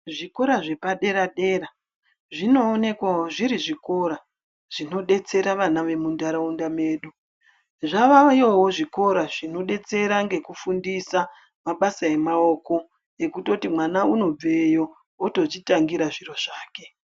Zvikora zvepadera dera zvinoonekwawo zvinodetsera vana vemundaraunda medu zvavayo zvikora zvinodetsera nekufundisa mabasa emaoko ekuti mwana unobveyo otozvitangira zviro zvake.